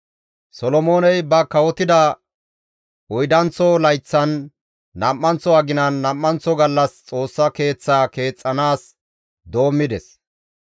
Solomooney ba kawotida oydanththo layththan, nam7anththo aginan nam7anththo gallas Xoossa keeththaa keexxanaas doommides.